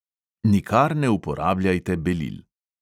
Nikar ne uporabljajte belil.